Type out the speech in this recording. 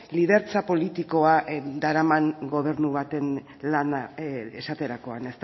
lidertza politikoa daraman gobernu baten lana esaterakoan